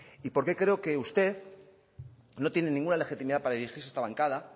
y porqué creo que usted no tiene ninguna legitimidad para dirigirse a esta bancada